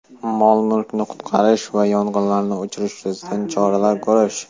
mol-mulkni qutqarish va yong‘inlarni o‘chirish yuzasidan choralar ko‘rish;.